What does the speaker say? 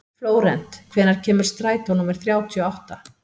Flórent, hvenær kemur strætó númer þrjátíu og átta?